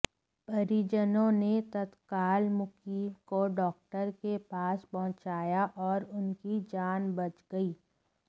परिजनों ने तत्काल मुकीम को डाक्टर के पास पहुंचाया और उनकी जान बच गई